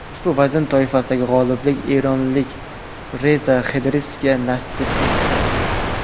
Ushbu vazn toifasida g‘oliblik eronlik Reza Xedriga nasib etdi.